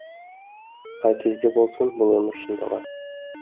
қай кезде болсын бұл өмір шындығы